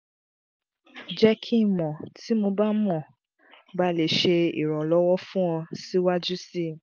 jẹ ki n mọ ti mo ba mo ba le ṣe iranlọwọ fun ọ siwaju sii